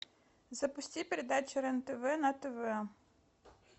запусти передачу рен тв на тв